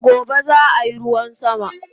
Gobe zaa yi ruwan sama